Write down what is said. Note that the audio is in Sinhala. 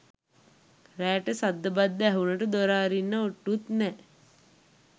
රෑට සද්ද බද්ද ඇහුනට දොර අරින්න ඔට්ටුත් නෑ.